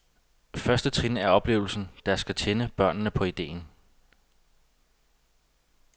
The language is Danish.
Første trin er oplevelsen, der skal tænde børnene på idéen.